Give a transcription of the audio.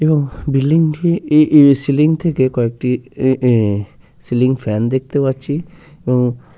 এবং বিল্ডিং ই ই সিলিং থেকে কয়েকটি এ এ সিলিং ফ্যান দেখতে পাচ্ছি এবং --